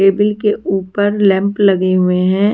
Table के ऊपर lamp लगे हुए हैं।